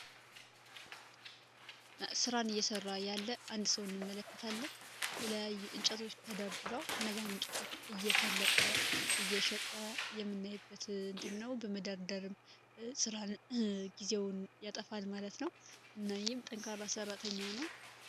ሥራን እየሠራ ያለ አንድ ሰውን እንመለከታለን የተለያየ እንጨቶች ተዳርድራው እነዛን እንጨቶች እየፈለጠ እየሸጠ የምናይበት እንትነው በመደርደርም ሥራን ጊዜውን ያጠፋል ማለት ነው እናም ጠንካራ ሠራተኛ ነው።